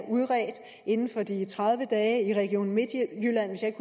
udredt inden for de tredive dage i region midtjylland hvis jeg